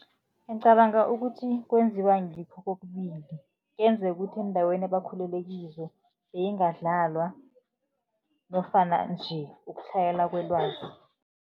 Ngicabanga ukuthi kwenziwa ngikho kokubili. Kuyenzeka ukuthi eendaweni ebakhulele kizo beyingadlalwa nofana nje ukutlhayela kwelwazi.